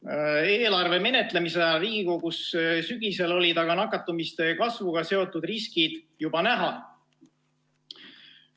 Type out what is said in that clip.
Sügisel Riigikogus eelarve menetlemise ajal olid aga nakatumise kasvuga seotud riskid juba näha.